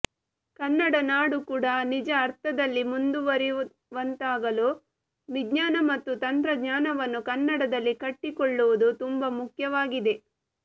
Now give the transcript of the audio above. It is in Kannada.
ಕನ್ನಡ ನಾಡು ಕೂಡ ನಿಜ ಅರ್ಥದಲ್ಲಿ ಮುಂದುವರೆಯುವಂತಾಗಲು ವಿಜ್ಞಾನ ಮತ್ತು ತಂತ್ರಜ್ಞಾನವನ್ನು ಕನ್ನಡದಲ್ಲಿ ಕಟ್ಟಿಕೊಳ್ಳುವುದು ತುಂಬಾ ಮುಖ್ಯವಾಗಿದೆ